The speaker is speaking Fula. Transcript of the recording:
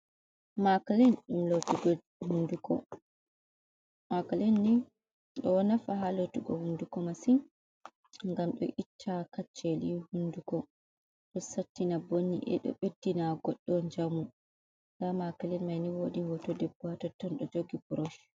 Macilin ɗum lotugo hunduko, macilin ni ɗo nafa ha lotugo hunduko massin gam do itta kaccele hunduko ɗo sattina bo ni'e ɗo ɓeddina goɗɗo njamu nda macilin mai ni wodi hoto debbo ha totton ɗo jogi brosh.